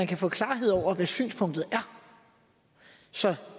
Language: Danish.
kan få klarhed over hvad synspunktet er så